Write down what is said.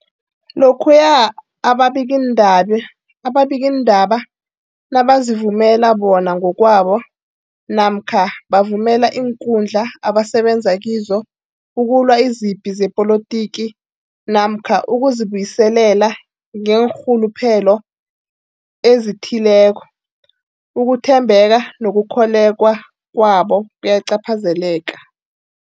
Lokhuya ababikiindabe ababikiindaba nabazivumela bona ngokwabo namkha bavumele iinkundla abasebenza kizo ukulwa izipi zepolitiki namkha ukuzi buyiselela ngeenrhuluphelo ezithileko, ukuthembeka nokukholweka kwabo kuyacaphazeleka.